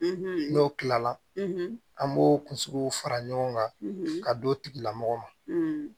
N'o kilala an b'o kunsigiw fara ɲɔgɔn kan ka d'ila mɔgɔ ma